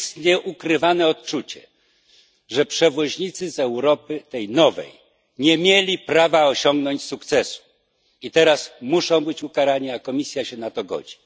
Panuje nieukrywane odczucie, że przewoźnicy z tej nowej Europy nie mieli prawa osiągnąć sukcesu i teraz muszą być ukarani, a Komisja się na to godzi.